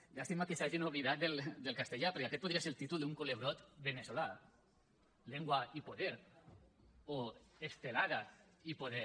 llàstima que s’hagin oblidat del castellà perquè aquest podria ser el títol d’un culebrot veneçolà lengua y poder o estelada y poder